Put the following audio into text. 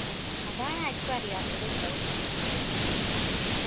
അതാണ് ആർക്കും അറിയാത്തത് ട്ടോ